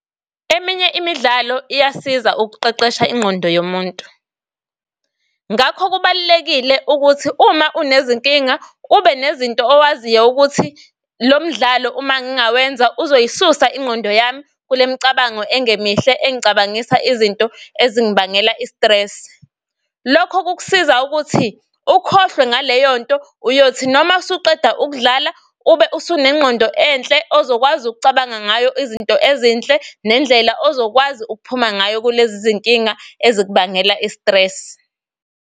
Eminye imidlalo iyasiza ukuqeqesha ingqondo yomuntu, ngakho kubalulekile ukuthi uma unezinkinga ube nezinto owaziyo ukuthi lo mdlalo uma ngingawenza uzoyisusa ingqondo yami kule imicabango engemihle engicabangisa izinto ezingibangela i-stress. Lokho kukusiza ukuthi ukhohlwe ngaleyo nto. Uyothi noma usuqeda ukudlala ube usunengqondo enhle ozokwazi ukucabanga ngayo izinto ezinhle nendlela ozokwazi ukuphuma ngayo kulezi izinkinga ezikubangela i-stress.